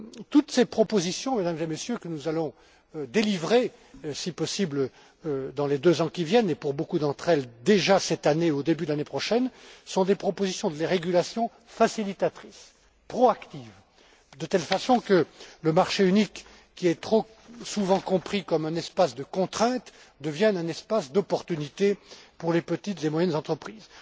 semaines. Toutes ces propositions, Mesdames et Messieurs, que nous allons formuler, si possible, dans les deux ans qui viennent et, pour beaucoup d'entre elles, déjà cette année et au début de l'année prochaine sont des propositions ou des régulations facilitatrices, proactives, de telle façon que le marché unique, qui est trop souvent compris comme un espace de contraintes, devienne un espace de débouchés pour les petites et moyennes